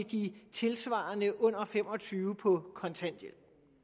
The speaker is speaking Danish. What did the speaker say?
de tilsvarende under fem og tyve år på kontanthjælp